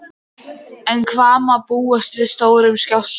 En hvað má búast við stórum skjálfta?